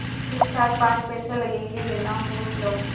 ठीकठाक पाँच पैसे लगेंगे लेना हो लो